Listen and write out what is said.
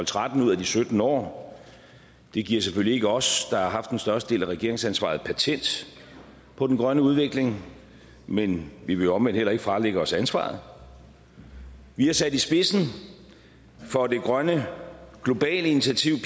tretten ud af de sytten år det giver selvfølgelig ikke os der har haft den største del af regeringsansvaret patent på den grønne udvikling men vi vil omvendt heller ikke fralægge os ansvaret vi er sat i spidsen for det grønne globale initiativ